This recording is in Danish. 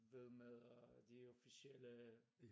Hvad med øh de officielle